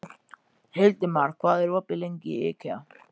Hildimar, hvað er opið lengi í IKEA?